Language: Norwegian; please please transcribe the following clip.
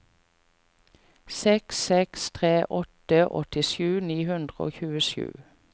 seks seks tre åtte åttisju ni hundre og tjuesju